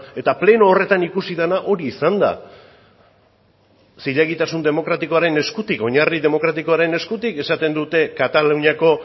eta pleno horretan ikusi dena hori izan da zilegitasun demokratikoaren eskutik oinarri demokratikoaren eskutik esaten dute kataluniako